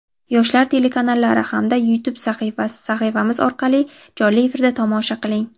"Yoshlar" telekanallari hamda YouTube sahifamiz orqali jonli efirda tomosha qiling!.